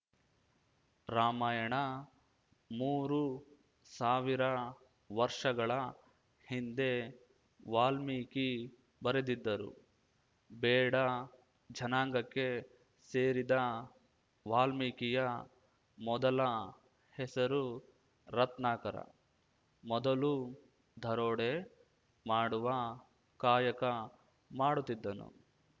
ರಾಮಾಯಣ ಮೂರು ಸಾವಿರ ವರ್ಷಗಳ ಹಿಂದೆ ವಾಲ್ಮೀಕಿ ಬರೆದಿದ್ದರು ಬೇಡ ಜನಾಂಗಕ್ಕೆ ಸೇರಿದ ವಾಲ್ಮೀಕಿಯ ಮೊದಲ ಹೆಸರು ರತ್ನಾಕರ ಮೊದಲು ದರೋಡೆ ಮಾಡುವ ಕಾಯಕ ಮಾಡುತ್ತಿದ್ದನು